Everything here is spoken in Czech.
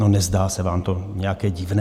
No, nezdá se vám to nějaké divné?